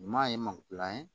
Ɲuman ye magilan ye